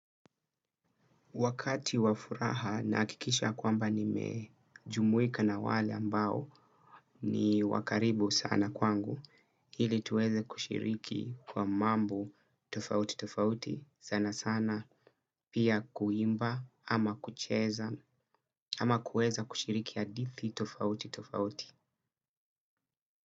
Wakati wa furaha na hakikisha kwamba nimejumuika na wale ambao ni wa karibu sana kwangu. Ili tuweze kushiriki kwa mambo tofauti tofauti sana sana pia kuimba ama kucheza ama kuweza kushiriki hadithi tofauti tofauti.